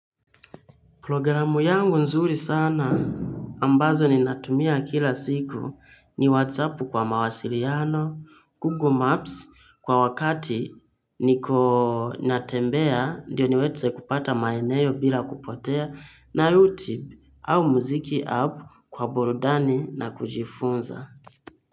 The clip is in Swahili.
Programu yangu nzuri sana ambazo ninatumia kila siku ni WhatsApp kwa mawasiliano, Google Maps kwa wakati niko natembea ndiyo niweze kupata maeneo bila kupotea na YouTube au muziki app kwa burudani na kujifunza.